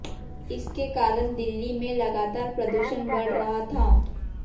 इसके कारण दिल्ली में लगातार प्रदूषण बढ़ रहा था